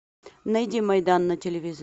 найди майдан на телевизоре